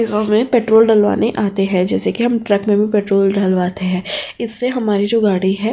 अ में पेट्रोल डलवाने आते है जैसे की हम ट्रक में भी पेट्रोल डलवाते है इससे हमारी जो गाड़ी है --